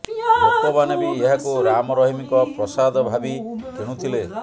ଲୋକମାନେ ବି ଏହାକୁ ରାମ ରହିମଙ୍କ ପ୍ରସାଦ ଭାବି କିଣୁଥିଲେ